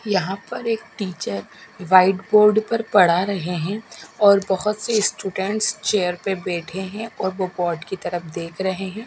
यहां पर एक टीचर व्हाइट बोर्ड पर पढ़ा रहे हैं और बहुत से स्टूडेंट्स चेयर पे बैठे हैं और वो बोर्ड की तरफ देख रहे हैं।